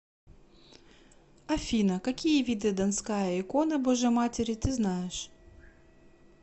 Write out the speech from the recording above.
афина какие виды донская икона божией матери ты знаешь